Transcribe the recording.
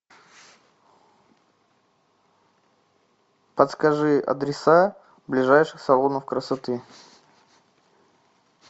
подскажи адреса ближайших салонов красоты